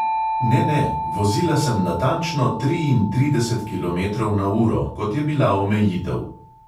Ne, ne, vozila sem natančno triintrideset kilometrov na uro, kot je bila omejitev.